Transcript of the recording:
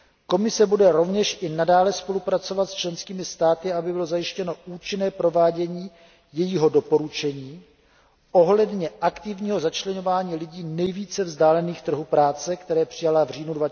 Komise bude rovněž i nadále spolupracovat s členskými státy, aby bylo zajištěno účinné provádění jejího doporučení ohledně aktivního začleňování lidí nejvíce vzdálených trhu práce, které přijala v říjnu